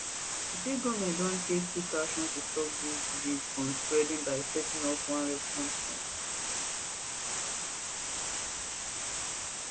she say goment don take quick action to stop di disease from spreading by setting up one response team